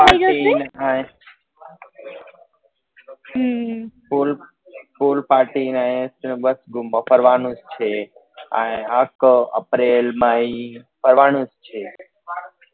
parking ને pool pool party ને એ બસ ગુમવા ફરવા નું જ છે આય આખો એપ્રિલ મે ફરવા નું જ છે